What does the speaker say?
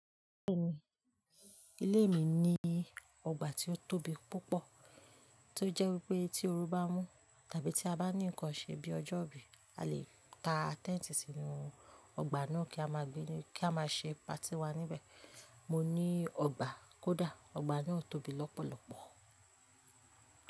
Béèni ilé mi ní ọgbà tí ó tóbi púpọ̀, tí ó jẹ́ wípé tí oru bá mú tàbí tí a bá ní ǹkan ṣe bí ọjọ́ ìbí, a lè ta tẹ́ǹtì sínú ọgbà náà kí a máa gbé, kí a máa ṣe patí wa níbẹ̀. Mo ní ọgbà kódà, ọgbà náà tóbi lọ́pọ̀lọ́pọ̀.